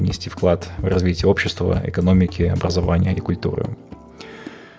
внести вклад в развитию общество экономики образования и культуры